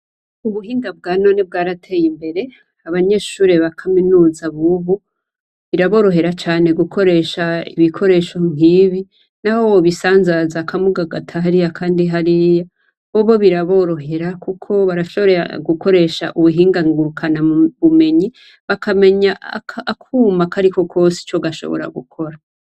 Ubuhinga bwa none bwarateye Imbere. Abanyeshure bakaminuza bubu biraborohera cane gukoresha ibikoresho nkibi naho bobisazanza kamwe ukagata hariya akandi hariya .bobo biraborohera kuko barashobora gukoresha imbuga nkorana bumenyi bakamenya akuma karikonkose ico gashoboye gukora.